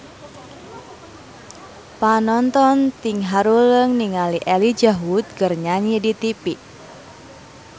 Panonton ting haruleng ningali Elijah Wood keur nyanyi di tipi